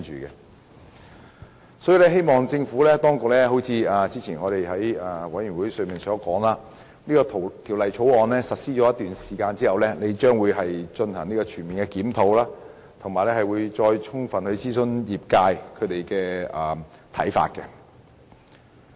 因此，我希望政府當局——正如之前在法案委員會中所言——在《條例草案》實施一段時間之後進行全面檢討，以及再充分諮詢業界。